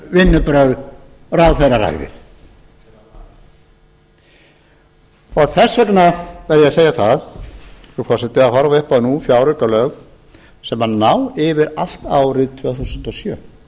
vinnubrögð ráðherraræðið þess vegna verð ég að segja það frú forseti að horfa upp á nú fjáraukalög sem ná yfir allt árið tvö þúsund og sjö